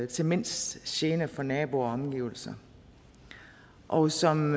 til mindst gene for naboer og omgivelser og som